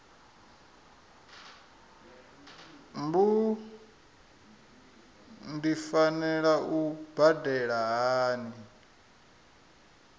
mbu ndi fanela u badela hani